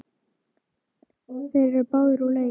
Þeir eru báðir úr leik.